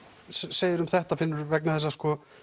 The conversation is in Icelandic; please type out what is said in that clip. segiru um þetta Finnur vegna þess að